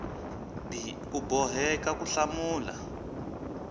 b u boheka ku hlamula